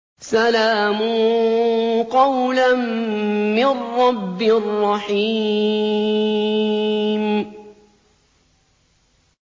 سَلَامٌ قَوْلًا مِّن رَّبٍّ رَّحِيمٍ